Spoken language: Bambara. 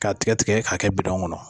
K'a tigɛ tigɛ k'a kɛ bidɔn kɔnɔ